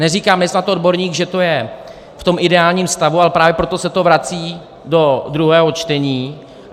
Neříkám, nejsa odborník, že je to v tom ideálním stavu, ale právě proto se to vrací do druhého čtení.